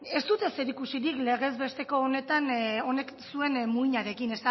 ez dute zerikusirik legez besteko honetan honek zuek muinarekin